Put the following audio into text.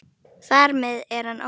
Þar með er hann ónýtur.